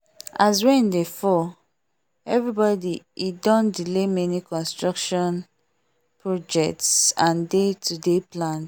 as rain dey fall everybody e don delay many construction projects and day to day plans